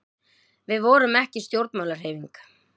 við vorum ekki stjórnmálahreyfing